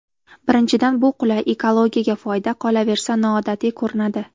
Birinchidan bu qulay, ekologiyaga foyda, qolaversa, noodatiy ko‘rinadi.